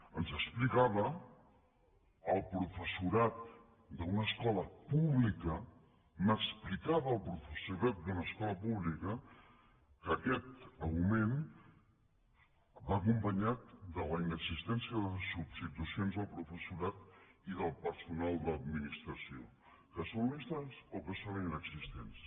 ens explicava el professorat d’una escola pública m’explicava el professorat d’una escola pública que aquest augment va acompanyat de la inexistència de substitucions del professorat i del personal d’administració que són lentes o que són inexistents